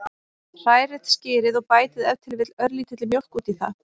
Hrærið skyrið og bætið ef til vill örlítilli mjólk út í það.